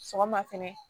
Sɔgɔma fɛnɛ